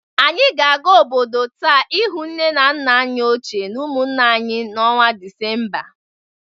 Anyị ga-aga obodo nta ịhụ nne na nna anyị ochie na ụmụnne anyị n'ọnwa Disemba